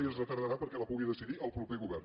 i es retardarà perquè la pugui decidir el proper govern